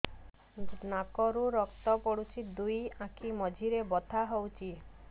ନାକରୁ ରକ୍ତ ପଡୁଛି ଦୁଇ ଆଖି ମଝିରେ ବଥା ହଉଚି